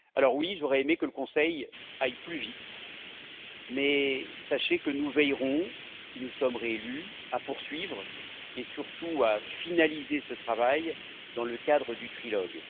Oui, j'aurais aimé que le Conseil aille plus vite, mais sachez que nous veillerons, si nous sommes réélus, à poursuivre, et surtout à finaliser ce travail dans le cadre du trilogue.